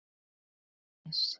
Ég les.